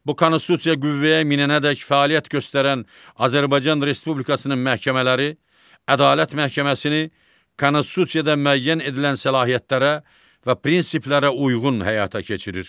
Bu Konstitusiya qüvvəyə minənədək fəaliyyət göstərən Azərbaycan Respublikasının məhkəmələri Ədalət məhkəməsini Konstitusiyada müəyyən edilən səlahiyyətlərə və prinsiplərə uyğun həyata keçirir.